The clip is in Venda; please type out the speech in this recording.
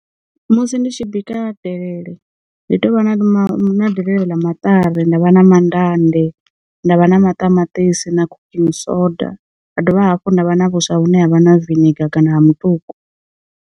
Musi ndi tshi bika delele, ndi tea u vha na ma na delele ḽa maṱari, nda vha na mandande, nda vha na maṱamaṱisi, na cooking soda. Ha dovha hafhu nda vha na vhuswa vhune havha na viniga kana ha mutuku.